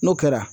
N'o kɛra